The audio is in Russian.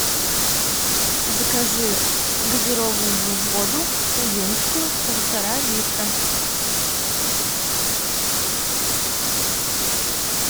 закажи газированную воду увинскую полтора литра